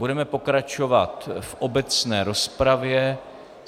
Budeme pokračovat v obecné rozpravě.